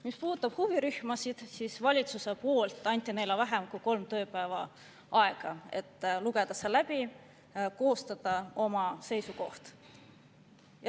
Mis puudutab huvirühmasid, siis valitsus andis neile vähem kui kolm tööpäeva aega, et lugeda see läbi ja koostada oma seisukoht.